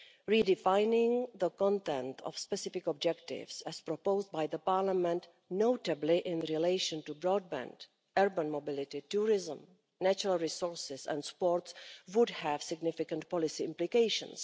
Redefining the content of specific objectives, as proposed by the Parliament, notably in relation to broadband, urban mobility, tourism, natural resources and sports, would have significant policy implications.